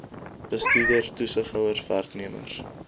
bestuurders toesighouers werknemers